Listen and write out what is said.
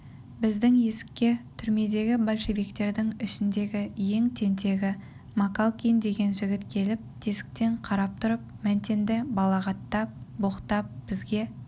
біздің есікке түрмедегі большевиктердің ішіндегі ең тентегі макалкин деген жігіт келіп тесіктен қарап тұрып мәнтенді балағаттап боқтап бізге